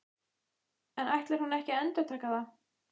En ætlar hún ekki að endurtaka það?